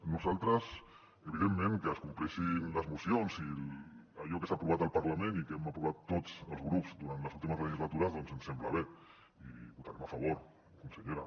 a nosaltres evidentment que es compleixin les mocions i allò que s’ha aprovat al parlament i que hem aprovat tots els grups durant les últimes legislatures ens sembla bé i hi votarem a favor consellera